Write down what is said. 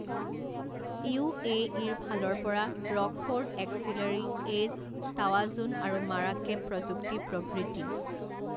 ইউএইৰ ফালৰ পৰা ৰকফোৰ্ড এক্সিলাৰী, এজ, তাৱাজুন আৰু মাৰাকেব প্ৰযুক্তি প্ৰভৃতি।